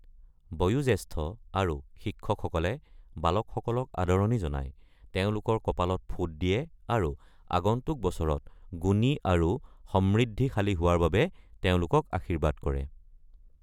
বয়োজ্যেষ্ঠ আৰু শিক্ষকসকলে বালকসকলক আদৰণি জনায়, তেওঁলোকৰ কপালত ফোঁট দিয়ে আৰু আগন্তুক বছৰত গুণী আৰু সমৃদ্ধিশালী হোৱাৰ বাবে তেওঁলোকক আশীৰ্বাদ কৰে।